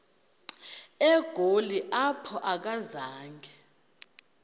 egoli apho akazanga